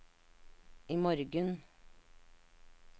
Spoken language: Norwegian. imorgen